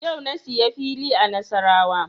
Yau na siya fili a Nasarawa